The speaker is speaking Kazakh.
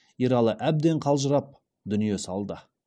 ералы әбден қалжырап дүние салды